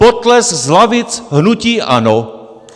Potlesk z lavic hnutí ANO!